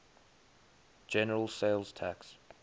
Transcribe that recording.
general sales tax